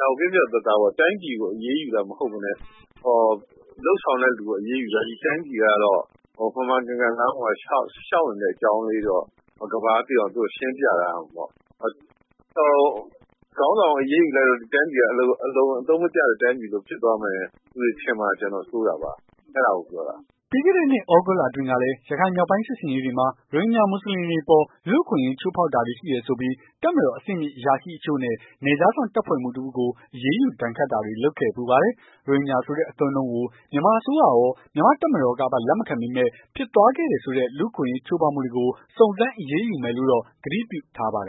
ဒါကို ပြတ်ပြတ်သားသားပေါ့ တိုင်းပြည်ကို အရေးယူတာမဟုတ်ဘဲနဲ့ လုပ်ဆောင်တဲ့ လူကို အရေးယူတာ တိုင်းပြည်ကတော့ မှန်မှန်ကန်ကန် လမ်းပေါ်မှာ လျှောက်နေတဲ့ အကြောင်းတော့ ကမ္ဘာက သိအောင် သူတို့ရှင်းပြထားရမှာပေါ့။ ခေါင်းဆောင်ကို အရေးယူလိုက်လို့ တိုင်းပြည်က အလွန်အသုံးမကျတဲ့ တိုင်းပြည်ဖြစ်သွားမှာ လူတွေထင်မှာ ကျွန်တော်စိုးရိမ်တာပါ။ အဲ့ဒါကိုပြောတာ။" ပြီးခဲ့တဲ့နှစ် သြဂုတ်လအတွင်းကလည်း ရခိုင်မြောက်ပိုင်းစစ်ဆင်ရေးတွေမှာ ရိုဟင်ဂျာမွတ်ဆလင်တွေအပေါ် လူ့အခွင့်ရေး ချိုးဖောက်တာတွေရှိတယ်ဆိုပြီး တပ်မတော်အဆင့်မြင့်အရာရှိအချို့နဲ့ နယ်ခြားစောင့်တပ်ဖွဲ့မှူး တစ်ဦးကို အရေးယူဒဏ်ခတ်တာတွေ လုပ်ခဲ့ဖူးပါတယ်။ ရိုဟင်ဂျာဆိုတဲ့ အသုံးအနှုံးကို မြန်မာအစိုးရရော မြန်မာတပ်မတော်ကပါ လက်မခံပေမယ့်၊ ဖြစ်သွားခဲ့တယ်ဆိုတဲ့ လူ့အခွင့်အရေးချိုးဖောက်မှုတွေကို စုံစမ်းအရေးယူမယ်လို့တော့ ဂတိပြုထားပါတယ်